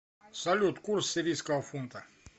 салют курс сирийского фунта